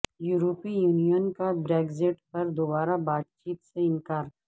یورپی یونین کا بریگزٹ پر دوبارہ بات چیت سے انکار